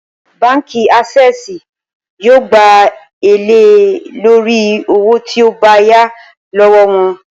Báǹkì Ásé̩è̩sì yóò gba èlé lórí owó tí o bá yá ló̩wó̩ wo̩n